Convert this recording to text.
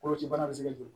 Koloci bana bɛ se ka jɔ